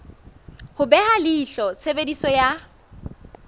ho beha leihlo tshebediso ya